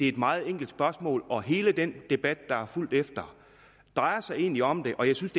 et meget enkelt spørgsmål og hele den debat der er fulgt efter drejer sig egentlig om det og jeg synes